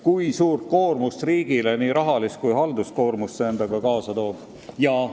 Kui suurt koormust riigile – nii rahalist kui ka halduskoormust – see kaasa toob?